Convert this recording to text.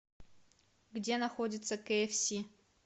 где находится кээфси